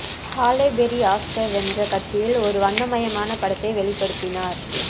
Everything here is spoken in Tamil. ஹாலே பெர்ரி ஆஸ்கார் வென்ற கட்சியில் ஒரு வண்ணமயமான படத்தை வெளிப்படுத்தினார்